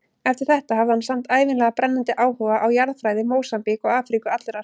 Eftir þetta hafði hann samt ævinlega brennandi áhuga á jarðfræði Mósambík og Afríku allrar.